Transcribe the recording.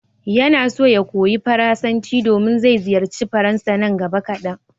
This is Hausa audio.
Yana so ya koyi Faransanci domin zai ziyarci Faransa nan gaba kadan.